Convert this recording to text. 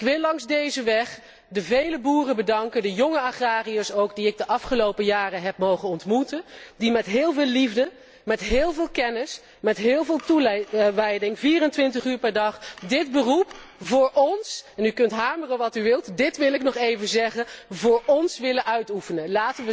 Ik wil langs deze weg de vele boeren bedanken, de jonge agrariërs ook die ik de afgelopen jaren heb mogen ontmoeten, die met heel veel liefde, met heel veel kennis, met heel veel toewijding 24 uur per dag dit beroep voor óns en u kunt hameren wat u wilt, dit wil ik nog even zeggen voor óns willen uitoefenen.